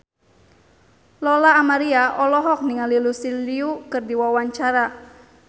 Lola Amaria olohok ningali Lucy Liu keur diwawancara